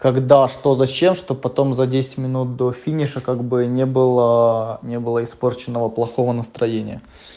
когда что зачем чтоб потом за десять минут до финиша как бы не было не было испорченного плохого настроения